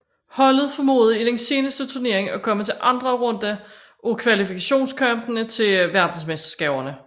Holdet formåede i den seneste turnering at komme til anden runde af kvalifikationskampene til verdensmesterskaberne